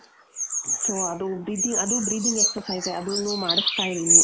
so ಅದೂ ಅದೂ breathing exercise ಅದುನ್ನು ಮಾಡುಸ್ತಾ ಇದೀನಿ.